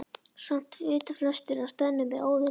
Samt vita flestir að stöðnun er óviðunandi.